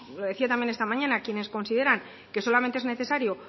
lo decía también esta mañana hay quienes consideran que solamente es necesario